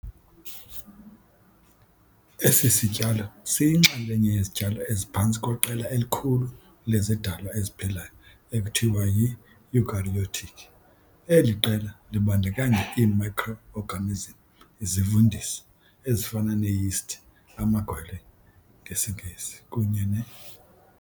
Esi sityalo siyinxalenye yezityalo eziphantsi kweqela elikhulu lezidalwa eziphilayo ekuthiwa yi-eukaryotic. Eli qela libandakanya ii-microorganisms izivundisi ezifana nee-yeasts amagwele, ngesiNgesi kunye ne.